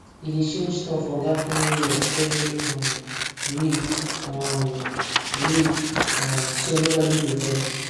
we dey change turn for vacuuming work every um week um week um so nobody go vex